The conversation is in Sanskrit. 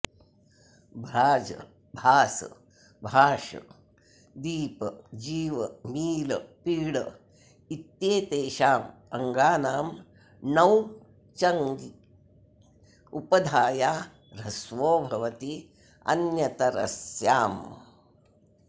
भ्राज भास भाष दीप जीव मील पीड इत्येतेषाम् अङ्गानां णौ चङि उपधाया ह्रस्वो भवति अन्यतरस्याम्